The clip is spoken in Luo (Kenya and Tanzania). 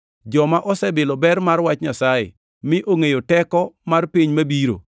joma osebilo ber mar Wach Nyasaye, mi ongʼeyo teko mar piny mabiro,